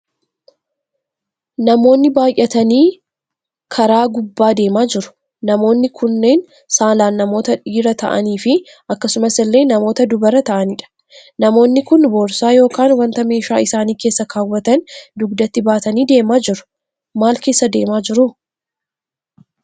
Namoonni baayyatanii karaavgubbaa deemaa jiru. Namoonni kunneen saalaan namoota dhiira ta'aniifi akkasumasillee namoota dubara ta'anidha. Namoonni kun borsaa yookaan wanta meeshaa isaanii keessa kaawwatan dugdatti baatanii deemaa jiru. Maal keessa deemaa jiru?